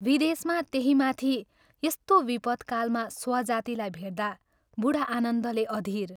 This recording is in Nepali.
" विदेशमा त्यही माथि यस्तो विपदकालमा स्वजातिलाई भेट्दा बूढा आनन्दले अधीर